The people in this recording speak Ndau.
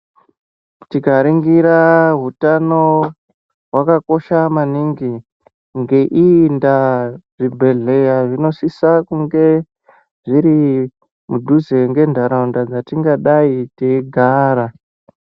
Tikaringira hutano hwakakosha maningi. Ngeiyi ndaa zvibhedhleya zvinosisa kunge zviri mudhuze ngentaraunda dzatingadai teigara.